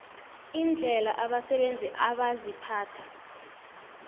indlela abasebenzi abaziphatha